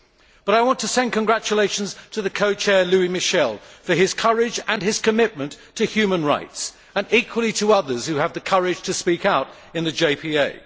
But I want to send congratulations to the co chair, Louis Michel, for his courage and his commitment to human rights and equally to others who have the courage to speak out in the JPA.